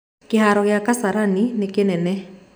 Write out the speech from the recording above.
Kĩhaaro gĩa Kasarani nĩ kĩnene